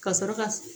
Ka sɔrɔ ka